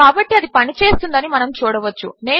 కాబట్టి అది పనిచేస్తోందని మనము చూడవచ్చు